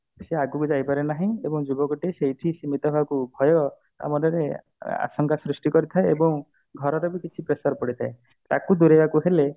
ସେ ଆଗକୁ ଯାଇ ପାରୁନାହିଁ ଏବଂ ଯୁବକ ଟିଏ ସେଇଠି ଭୟ ତା ମନରେ ଆ ଆଶଙ୍କା ସୃଷ୍ଟି କରିଥାଏ ଏବଂ ଘରେ ର କିଛି pressure ପଡିଥାଏ ତାକୁ ଦୂରେଇବାକୁ ହେଲେ